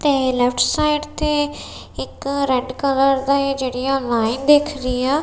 ਤੇ left side ਤੇ ਇੱਕ ਰੈੱਡ ਕਲਰ ਦਾ ਏਹ ਜੇਹੜੀਆਂ ਲਾਇਨ ਦਿੱਖ ਰਹੀ ਆ।